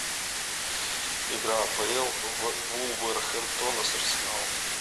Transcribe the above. игра апл вулверхэмптона с арсеналом